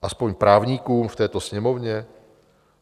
Aspoň právníkům v této Sněmovně?